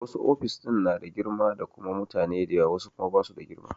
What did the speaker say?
Wasu ofis ɗin na da girma da kuma mutane da yawa wasu kuma ba su da girma.